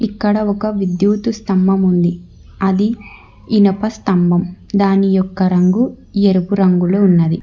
ఇక్కడ ఒక విద్యుతు స్తంభం ఉంది అది ఇనప స్తంభం దాని యొక్క రంగు ఎరుపు రంగులో ఉన్నది.